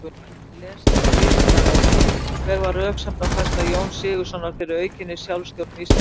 Frekara lesefni á Vísindavefnum: Hver var röksemdafærsla Jóns Sigurðssonar fyrir aukinni sjálfstjórn Íslendinga?